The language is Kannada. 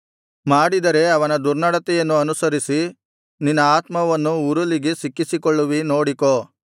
ಮಾಡಿದರೆ ಅವನ ದುರ್ನಡತೆಯನ್ನು ಅನುಸರಿಸಿ ನಿನ್ನ ಆತ್ಮವನ್ನು ಉರುಲಿಗೆ ಸಿಕ್ಕಿಸಿಕೊಳ್ಳುವಿ ನೋಡಿಕೋ